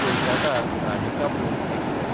Kolkata-Radhikapur express